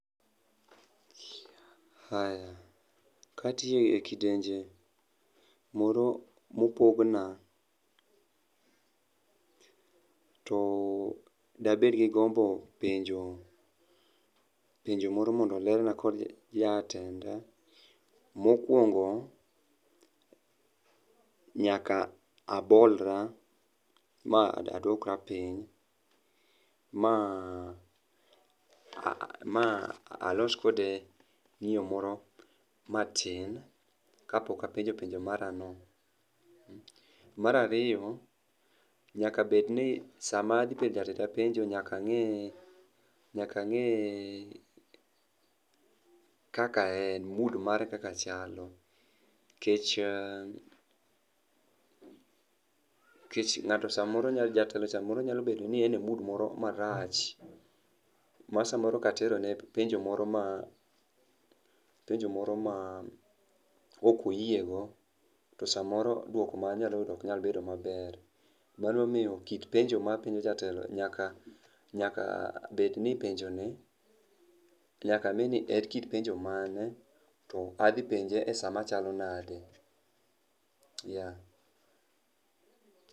Aya. Ka tiye e kidenje moro mopogna to dabed gi gombo penjo penjo moro mondo ler na kod jatenda. Mokwongo, nyaka abolra ma aduokra piny ma alos kode ng'iyo moro matin kapok apenjo penjo mara no. Mar ariyo, nyaka bed ni sama adhi penjo penjo nyaka ang'e nyaka ang'e kaka en, mood mare kaka chalo kech kech ng'ato samoro jatelo samoro nyalo bedo ni en e mood moro marach ma samoro katero ne penjo moro ma penjo moro ma okoyie go to samoro duoko manya yudo onkyal bedo maber. Mano momiyo kit penjo mapenjo jatelo nyaka nyaka bed ni penjo ni nyaka ng'eni en kit penjo mane to adhi penje e saa machalo nade. yeah